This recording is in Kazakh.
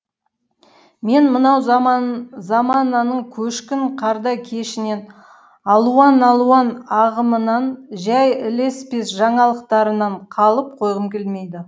мен мынау замананың көшкін қардай көшінен алуан алуан ағымынан жай ілеспес жаңалықтарынан қалып қойғым келмейді